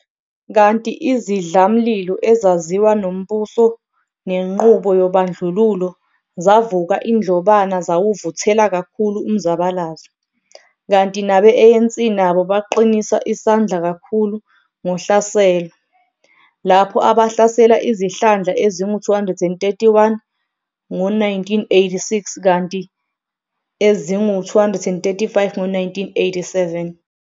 Kanti izidlamlilo ezaziwa nombuso nenqubo yobandlululo zavuka indlobana zawuvuthela kakhulu umzabalazo, kanti nabe-ANC nabo baqinisa isandla kakhulu ngohlaselo, lapho abahlasela izihlandla ezingu 231 ngo-1986 kanti eingu 235 ngo-1987.